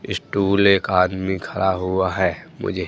stall एक आदमी खड़ा हुआ है मुझे--